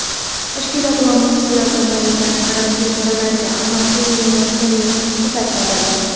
tashkilot va muassasalar tomonidan karantin choralariga amal qilinmayotganini ko‘rsatadi.